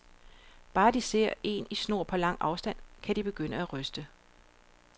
Bare de ser en i snor på lang afstand, kan de begynde at ryste.